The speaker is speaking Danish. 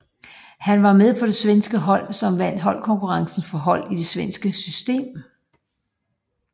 Han var med på det svenske hold som vandt holdkonkurrencen for hold i svensk system